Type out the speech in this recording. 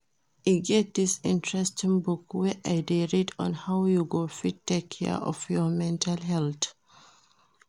E get dis interesting book wey I dey read on how you go fit take care of your mental health